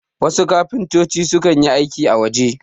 wasu kafintoci sukan yi aiki a waje